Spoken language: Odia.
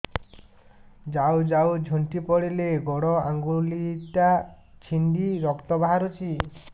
ଯାଉ ଯାଉ ଝୁଣ୍ଟି ପଡ଼ିଲି ଗୋଡ଼ ଆଂଗୁଳିଟା ଛିଣ୍ଡି ରକ୍ତ ବାହାରୁଚି